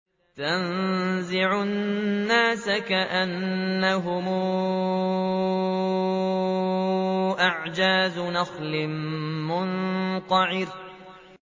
تَنزِعُ النَّاسَ كَأَنَّهُمْ أَعْجَازُ نَخْلٍ مُّنقَعِرٍ